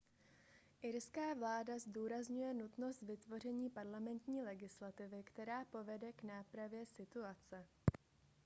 irská vláda zdůrazňuje nutnost vytvoření parlamentní legislativy která povede k nápravě situace